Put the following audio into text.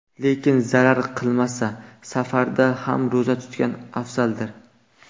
Lekin zarar qilmasa, safarda ham ro‘za tutgan afzaldir.